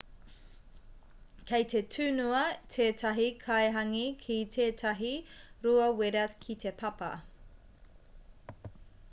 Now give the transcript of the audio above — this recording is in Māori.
kei te tunua tētahi kai hāngī ki tētahi rua wera ki te papa